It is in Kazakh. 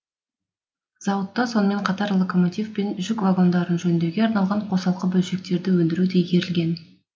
зауытта сонымен қатар локомотив пен жүк вагондарын жөндеуге арналған қосалқы бөлшектерді өндіру де игерілген